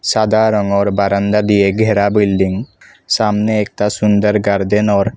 সাদা রংয়ের বারান্দা দিয়ে ঘেরা বিল্ডিং সামনে একটা সুন্দর গার্ডেন ওর --